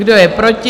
Kdo je proti?